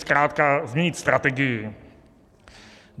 Zkrátka změnit strategii.